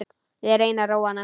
Ég reyni að róa hana.